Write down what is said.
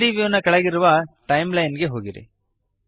3ದ್ ವ್ಯೂ ನ ಕೆಳಗಿರುವ ಟೈಮ್ಲೈನ್ ಗೆ ಹೋಗಿರಿ